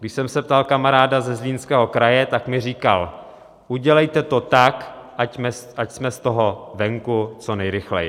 Když jsem se ptal kamaráda ze Zlínského kraje, tak mi říkal: Udělejte to tak, ať jsme z toho venku co nejrychleji!